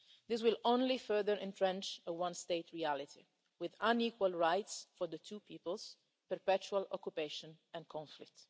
This will only further entrench a one state reality, with unequal rights for the two peoples, perpetual occupation and conflict.